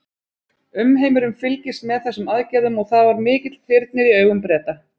Umheimurinn fylgist með þessum aðgerðum og það var mikill þyrnir í augum Breta.